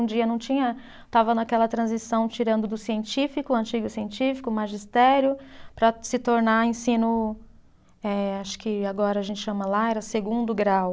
Um dia não tinha, estava naquela transição tirando do científico, antigo científico, magistério, para se tornar ensino, eh acho que agora a gente chama, lá era segundo grau.